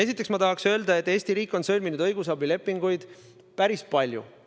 Esiteks tahan öelda, et Eesti riik on sõlminud õigusabilepinguid päris palju.